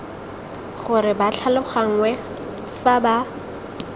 gore ba tlhaloganngwe fa ba